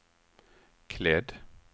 klädd